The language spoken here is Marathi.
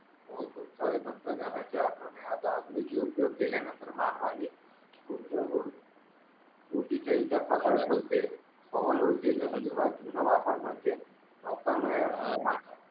दुष्काळी तंत्रज्ञानाचा आधुनिक उपयोग केल्यानंतर मानवाने पवन ऊर्जेचा पूर्ण वापर म्हणजे